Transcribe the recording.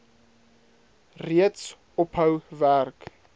reeds ophou werk